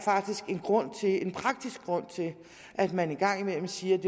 en praktisk grund til at man en gang imellem siger at